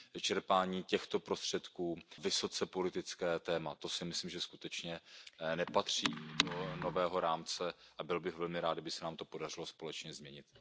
čerpání těchto prostředků vysoce politickým tématem, to si myslím, že skutečně nepatří do nového rámce a byl bych velmi rád, kdyby se nám to podařilo společně změnit.